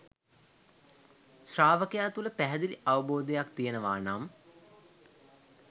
ශ්‍රාවකයා තුළ පැහැදිලි අවබෝධයක් තියෙනවා නම්